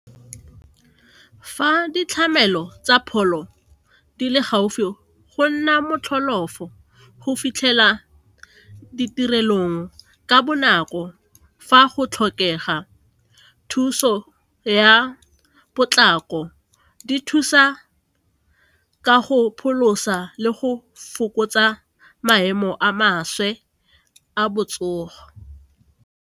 Fa ditlamelo tsa pholo di le gaufi go nna go fitlhela ditirelong ka bonako fa go tlhokega thuso ya potlako di thusa ka go pholosa le go fokotsa maemo a maswe a botsogo.